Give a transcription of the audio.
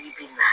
Bi bi in na